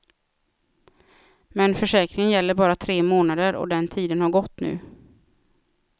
Men försäkringen gäller bara tre månader och den tiden har gått nu.